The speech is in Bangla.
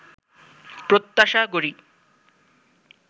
প্রত্যাশা করি